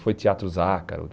Foi Teatro Zácaro.